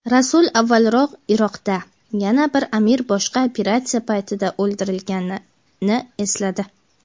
Rasul avvalroq Iroqda yana bir amir boshqa operatsiya paytida o‘ldirilganini esladi.